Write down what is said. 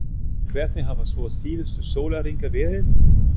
Hvernig hafa svo síðustu sólarhringar verið?